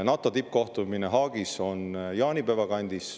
NATO tippkohtumine Haagis on jaanipäeva kandis.